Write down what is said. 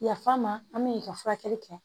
Yaf'a ma an bɛ i ka furakɛli kɛ